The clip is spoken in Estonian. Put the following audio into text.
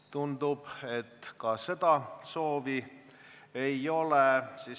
Tundub, et ka seda soovi ei ole.